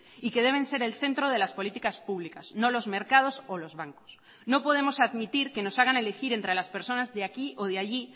y que deben ser el centro de las políticas públicas no los mercados o los bancos no podemos admitir que nos hagan elegir entre las personas de aquí o de allí